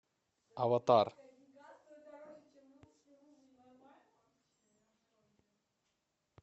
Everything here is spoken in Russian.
аватар